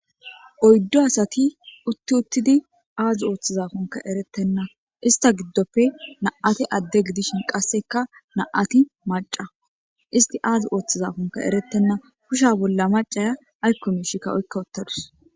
Oyddo asati utti uttidi aazi ooththizafonka eretenna ista giddoppe na7ate adde gidishin qasseka na7ati maca isti aazi ooththizafonka erettenna husha bolla macaya aykko mishikka oykka uttadus.